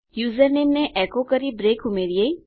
username ને echo કરી break ઉમેરીએ